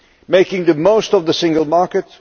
making the most of the single market